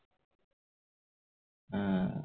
উম